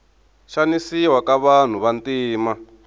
xanisiwa ka vanhu vantima